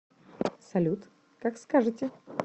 салют как скажете